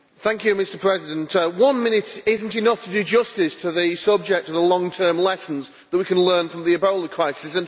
Mr President, one minute is not enough to do justice to the subject of the long-term lessons that we can take from the Ebola crisis.